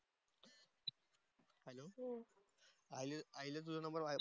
आणि आईला तुझा नंबर,